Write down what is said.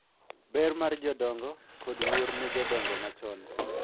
Ber mar jodongo, kod luor ne jodongo machon.